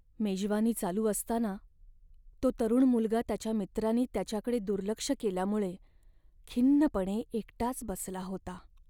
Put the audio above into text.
मेजवानी चालू असताना तो तरुण मुलगा त्याच्या मित्रांनी त्याच्याकडे दुर्लक्ष केल्यामुळे खिन्नपणे एकटाच बसला होता.